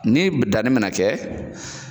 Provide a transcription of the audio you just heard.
Ni danni be na kɛ